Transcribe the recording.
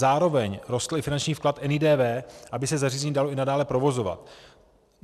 Zároveň rostl i finanční vklad NIDV, aby se zařízení dalo i nadále provozovat.